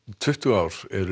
tuttugu ár eru